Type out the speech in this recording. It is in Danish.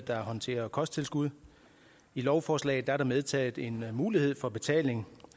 der håndterer kosttilskud i lovforslaget er medtaget en mulighed for betaling